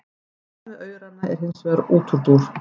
Þetta með aurana er hins vegar útúrdúr.